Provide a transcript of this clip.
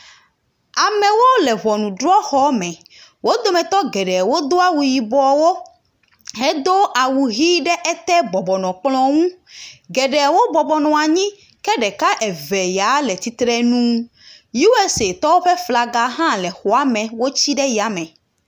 Amewo le ʋɔnudrɔxɔme wodometɔ geɖewo dó awu yibɔwo hedó awu hi ɖe ete bɔbɔnɔ kplɔ ŋu geɖewo bɔbɔnɔ anyi ke ɖeka eve ya le tsitrenu usatɔwo ƒe flaga hã le xɔame wotsi ɖe yame